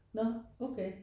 Nårh okay